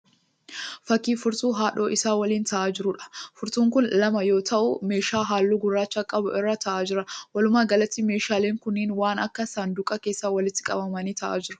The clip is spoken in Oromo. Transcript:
Fakkii furtuu haadhoo isaa waliin ta'aa jiruudha. Furtuun kun lama yoo ta'u meeshaa halluu gurraacha qabu irra ta'aa jira. Walumaa galatti meeshaaleen kunneen waan akka saanduqaa keessa walitti qabamanii ta'aa jiru.